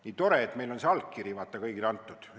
Nii tore, et meil on see allkiri, vaata, kõigil antud.